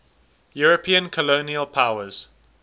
european colonial powers